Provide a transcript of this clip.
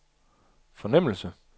fornemmelse